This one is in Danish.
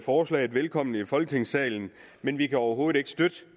forslaget velkommen i folketingssalen men vi kan overhovedet ikke støtte